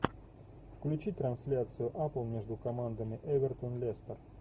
включи трансляцию апл между командами эвертон лестер